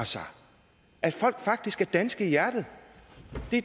at folk faktisk er danske i hjertet